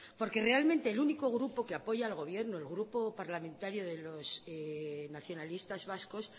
porque realmente el único grupo que apoya al gobierno el grupo parlamentario de los nacionalistas vascos